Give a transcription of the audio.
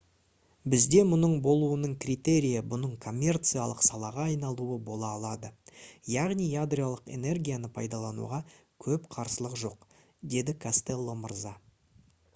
«бізде мұның болуының критерийі бұның коммерциялық салаға айналуы бола алады. яғни ядролық энергияны пайдалануға көп қарсылық жоқ» - деді костелло мырза